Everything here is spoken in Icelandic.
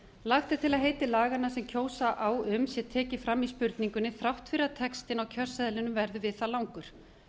lagt er til að heiti laganna sem kjósa á um sé tekið fram í spurningunni þrátt fyrir að textinn á kjörseðlinum verði við það langur